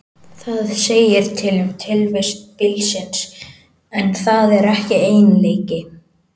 Það segir til um tilvist bílsins, en það er ekki eiginleiki.